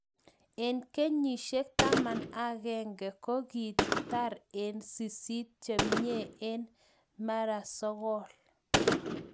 Enh kenyisiek taman ak agenge ko kii tar eng sisit chemiee eng mara sogool